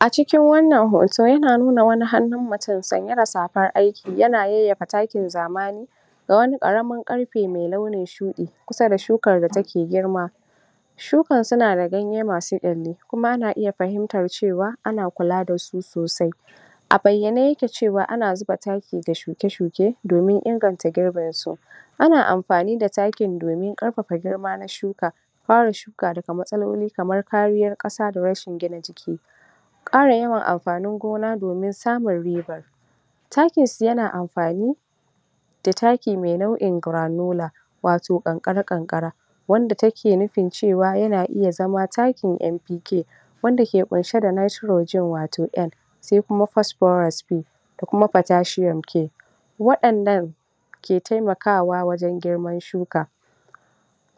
A cikin wannan hoto yana nuna wani hannun mutum sanye da safar aiki yana yayyafa takin zamani da wani ƙaramin ƙarfe mai launin shuɗi kusa da shukan da take girma. Shukan suna da ganye masu ƙyalli kuma ana fahimtar cewa kuma ana kula da su sosai. A bayyane yake cewa ana zuba taki ga shuke shuke domin inganta girbinsu. Ana amfani da takin domin ƙarfafa girma na shukan kare shuka daga matsaloli kamar kariyar ƙasa da gina jiki, ƙara yawan amfanin gona domin samun riba takin su yana amfani da taki mai nauʼin granular wato ƙanƙara ƙanƙara wanda ta ke nufin cewa tana iya zama takin NPK wanda ke ƙunshe da Nitrogen wato N sai kuma Posphoras P da kuma Potassium K. Waɗannan ke taimakawa wajen girman shuka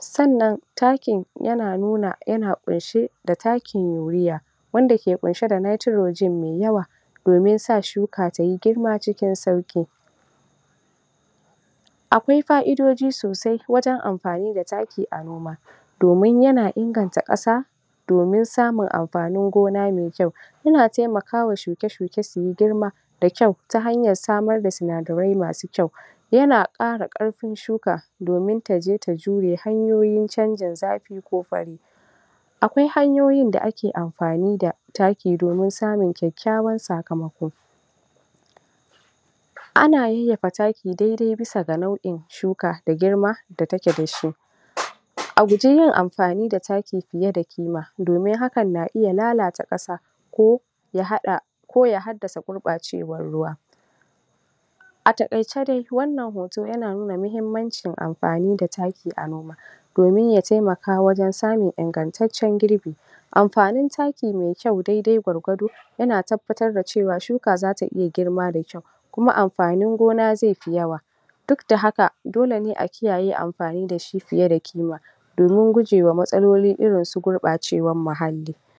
sannan takin yana nuna yana ƙunshe da takin Urea wanda ke ɗauke da Nitrogen mai yawa domin sa shuka tai girma cikin sauƙi. Akwai faʼidoji sosai wajen amfani da taki a noma, domin yana inganta ƙasa domin samun amfani mai kyau yana taimakawa shuke shuke su yi girma da kyau ta hanyar samar da sinadarai masu kyau yana ƙara ƙarfin shuka domin ta je ta jure hanyoyin canjin zafi ko fari. Akwai hanyoyin da ake amfani da taki domin samun kyakkyawar sakamako. Ana yayyafa taki dai dai bisa ga nauʼin shuka da girma da take da shi, a guji yin amfani da taki fiye da ƙima domin hakan na iya lalata ƙasa ko ya haɗa ko ya haddasa gurɓacewar ruwa. A takaice dai wannan hoto yana nuna muhimmanci amfani da taki a noma domin ya taimaka wajen samun ingantaccen girbi. Amfanin taki mai kyau daidai gwargwado yana tabbatar da cewa shuka za ta iya girma da kyau kuma amfanin gona zai fi yawa duk da haka dole ne a kiyaye amfani da shi fiye da ƙima domin guje wa matsaloli irinsu gurɓacewar muhalli.